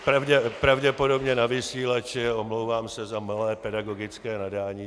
Pravděpodobně na vysílači, omlouvám se za malé pedagogické nadání.